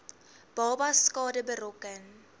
babas skade berokken